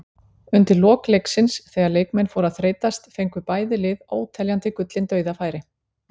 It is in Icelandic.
Undir lok leiksins þegar leikmenn fóru að þreytast fengu bæði lið óteljandi gullin dauðafæri.